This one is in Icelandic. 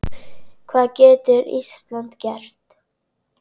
Hvað getur Ísland gert?